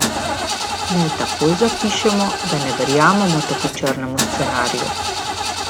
Naj takoj zapišemo, da ne verjamemo tako črnemu scenariju.